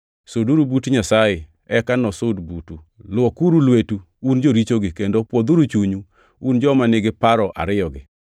Suduru but Nyasaye, eka nosud butu. Luokuru lweteu, un jorichogi, kendo pwodhuru chunyu, un joma nigi paro ariyogi.